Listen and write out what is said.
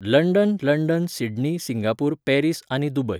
London London Sydney Singapore Paris आनी Dubai